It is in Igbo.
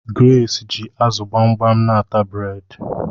Grace ji azu gbamgbam n'ata bred